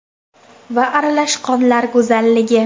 va Aralash qonlar go‘zalligi .